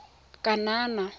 kanana